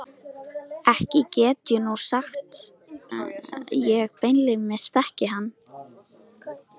Ekki get ég nú sagt ég beinlínis þekki hann.